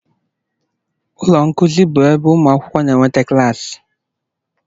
Ụlọ nkuzi bụ ebe ụmụ akwụkwọ na-enweta klaasị.